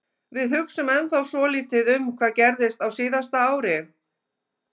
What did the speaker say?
Við hugsum ennþá svolítið um hvað gerðist á síðasta ári.